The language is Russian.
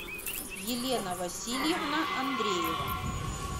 елена васильевна андреева